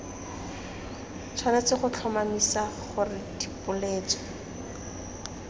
tshwanetse go tlhomamisa gore dipoeletso